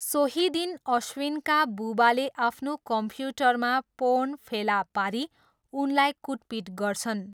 सोही दिन अश्विनका बुबाले आफ्नो कम्प्युटरमा पोर्न फेला पारी उनलाई कुटपिट गर्छन्।